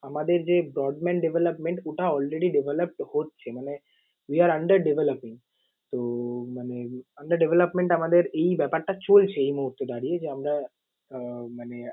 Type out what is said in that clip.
আমাদের যে broadband development ওটা all ready develop হচ্ছে মানে we are under developing । তো মানে under development আমাদের এই ব্যাপারটা চলছে এই মুহূর্তে দাঁড়িয়ে যে আমরা আহ মানে